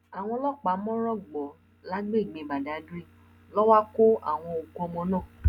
àwọn ọlọpàá mọ́rọ̀ gbọ́ lágbègbè badagry ló wá kọ àwọn òkú ọmọ náà